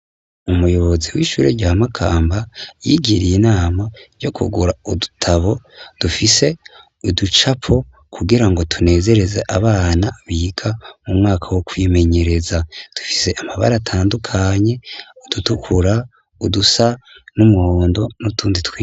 Umuyobozi w'ishure rya Makamba, yigiriye inama yo kugura udutabo, dufise uducapo, kugira ngo tunezereze abana biga mu mwaka wo kwimenyereza, dufise amabara atandukanye, udutukura udusa n'umuhondo n'utundi.